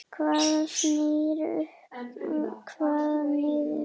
Hvað snýr upp, hvað niður?